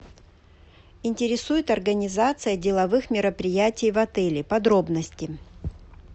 интересует организация деловых мероприятий в отеле подробности